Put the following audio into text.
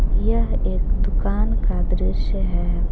यह एक दुकान का दृश्य है।